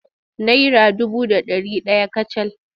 Naira dubu da ɗari ɗaya kacal.